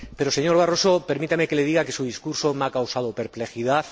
Pero, señor Barroso, permítame que le diga que su discurso me ha causado perplejidad.